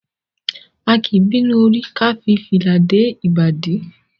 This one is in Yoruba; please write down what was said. A kì í bínú orí ká fi fìlà dé ìbàdí.